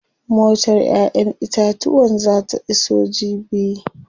Motar ƴaƴen itatuwan zaa ta iso jibi.